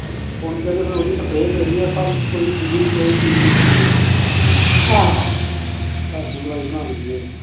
ਪੁਣ ਕੇ ਤੇ ਮੁੜ ਕੇ ਉਹਦੀ ਸਪਰੇਹ ਕਰਦੀ ਸੱਭ ਸੂਡੀ ਕੋਈ ਚੀਜ ਨੀ ਪੈਂਦੀ ਫਿਰ ਅੱਛਾ ਘਰ ਦੀ ਦਵਾਈ ਬਣਾ ਲਈ ਦੀ